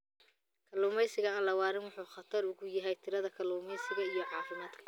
Kalluumeysiga aan la waarin wuxuu aad khatar ugu yahay tirada kalluunka iyo caafimaadka.